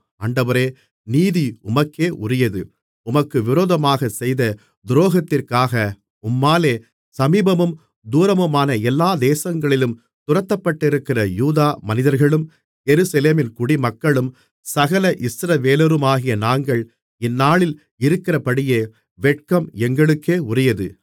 ஆண்டவரே நீதி உமக்கே உரியது உமக்கு விரோதமாகச் செய்த துரோகத்திற்காக உம்மாலே சமீபமும் தூரமுமான எல்லா தேசங்களிலும் துரத்தப்பட்டிருக்கிற யூதா மனிதர்களும் எருசலேமின் குடிமக்களும் சகல இஸ்ரவேலருமாகிய நாங்கள் இந்நாளில் இருக்கிறபடியே வெட்கம் எங்களுக்கே உரியது